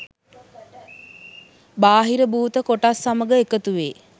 බාහිර භූත කොටස් සමග එකතු වේ